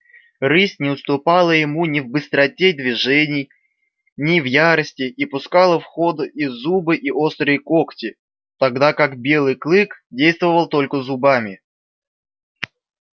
рысь не уступала ему ни в быстроте движений ни в ярости и пускала в ход и зубы и острые когти тогда как белый клык действовал только зубами